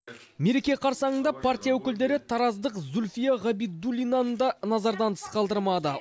мереке қарсаңында партия өкілдері тараздық зульфия ғабидуллинаны да назардан тыс қалдырмады